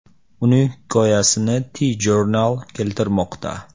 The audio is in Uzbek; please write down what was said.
Uning hikoyasini TJournal keltirmoqda .